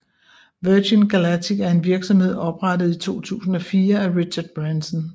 Virgin Galactic er en virksomhed oprettet i 2004 af Richard Branson